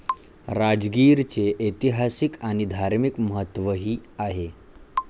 राजगिरचे ऐतिहासिक आणि धार्मिक महत्वही आहे.